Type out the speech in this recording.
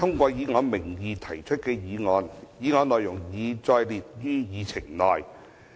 主席，我動議通過以我名義提出的議案，議案內容已載列於議程內。